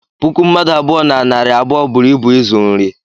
puku mmadụ abụọ na narị abụọ buru ịbu ịzụ nri